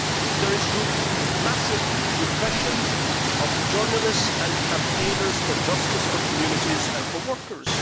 There is massive repression of journalists and campaigners for justice, for communities and for workers.